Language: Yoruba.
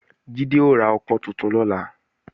Jídé ó ra ọkọ́ tuntun lọ́la